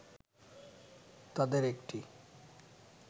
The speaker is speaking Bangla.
তাঁদের একটি